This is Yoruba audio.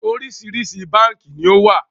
Oríṣiríṣi báànkì ni ó wà